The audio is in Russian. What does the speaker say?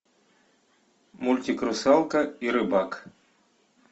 мультик русалка и рыбак